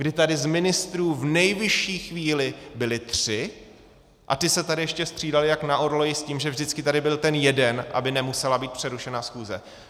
Kdy tady z ministrů v nejvyšší chvíli byli tři, a ti se tady ještě střídali jako na orloji s tím, že vždycky tady byl ten jeden, aby nemusela být přerušena schůze.